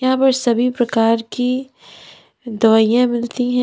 यहां पर सभी प्रकार की दवाइयां मिलती हैं।